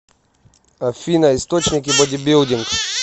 афина источники бодибилдинг